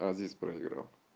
азис проиграл